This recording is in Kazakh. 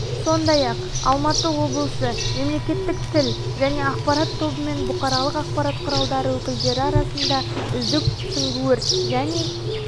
сондай-ақ алматы облысы мемлекеттік тіл және ақпарат тобымен бұқаралық ақпарат құралдары өкілдері арасында үздік сүңгуір және